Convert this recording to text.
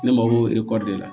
Ne mako b'o erekɔli de la